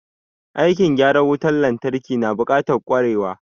Aikin gyaran wutan lantarki na buƙatar ƙwarewa.